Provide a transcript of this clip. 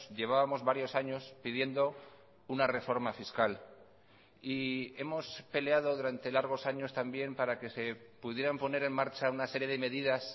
llevábamos varios años pidiendo una reforma fiscal y hemos peleado durante largos años también para que se pudieran poner en marcha una serie de medidas